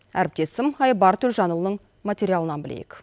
әріптесім айбар төлжанұлының материалынан білейік